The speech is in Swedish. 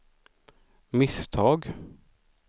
misstag